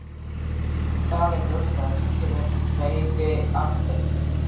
Það er ljóst að ríkið er hreyfiaflið.